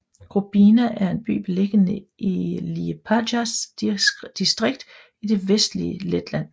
Grobiņa er en by beliggende i Liepājas distrikt i det vestlige Letland